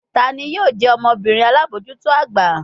Tani yoo jẹ ọmọbirin alabojuto agba?